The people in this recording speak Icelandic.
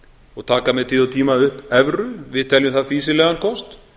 og taka með tíð og tíma upp evru við teljum það fýsilegan kost